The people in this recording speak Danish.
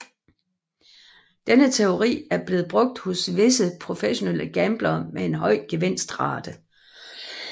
Denne teori er blevet brugt hos visse professionelle gamblere med en høj gevinstrate